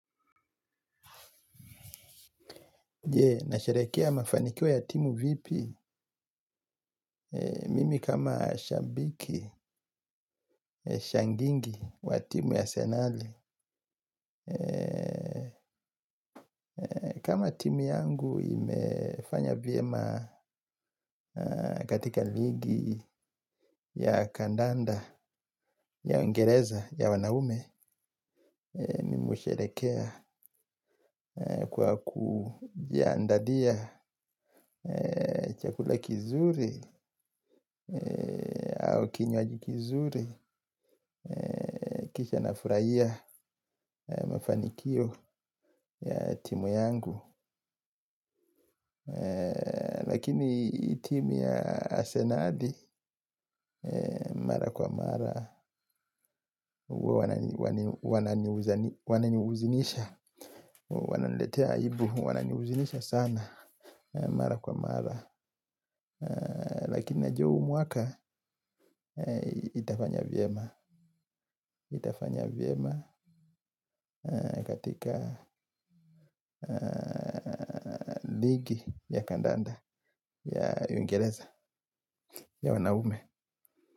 Je, nasherehekea mafanikio ya timu vipi, mimi kama shabiki, shabiki wa timu ya Arsenal? Kama timu yangu imefanya vyema katika ligi ya kandanda, ya Uingereza, ya wanaume. Mimi husherehekea kwa kujiandalia chakula kizuri au kinywaji kizuri. Kisha nafurahia mafanikio ya timu yangu. Lakini timu ya Asenali Mara kwa mara huwa wananihuzunisha. Wananiletea aibu, wananihuzunisha sana mara kwa mara. Lakini najua huu mwaka itafanya vyema katika ligi ya kandanda. Ya Uingereza ya wanaume.